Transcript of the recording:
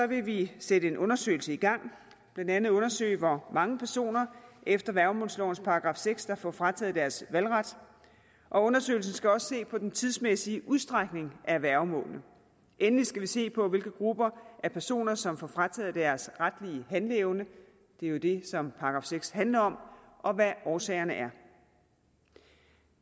vil vi sætte en undersøgelse i gang blandt andet undersøge hvor mange personer efter værgemålslovens § seks der får frataget deres valgret og undersøgelsen skal også se på den tidsmæssige udstrækning af værgemålene endelig skal vi se på hvilke grupper af personer som får frataget deres retlige handleevne det er jo det som § seks handler om og hvad årsagerne er